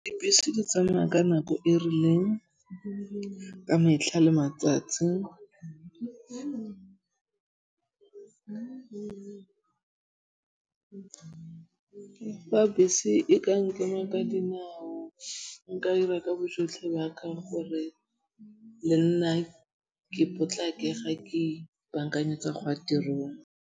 Dibese di tsamaya ka nako e rileng ka metlha le matsatsi. Le fa bese e ka nkema ka dinao nka 'ira ka bojotlhe ba ka gore le nna ke potlake ga ke baakanyetsa go ya tirong.